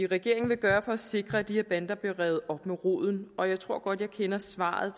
regeringen vil gøre for at sikre at de her bander bliver revet op med rode og jeg tror godt at jeg kender svaret